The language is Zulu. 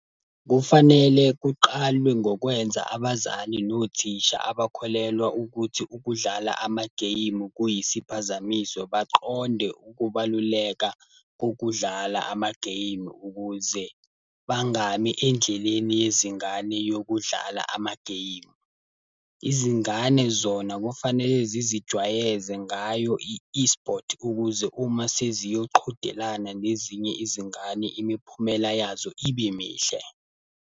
Kufanele kuqalwe ngokwenza abazali nothisha abakholelwa ukuthi ukudlala ama-game kuyisiphazamiso baqonde ukubaluleka kokudlala ama-game ukuze, bangami endleleni yezingane yokudlala ama-game. Izingane zona kufanele zizijwayeze ngayo i-eSport ukuze uma seziyoqhudelana nezinye izingane imiphumela yazo ibe mihle.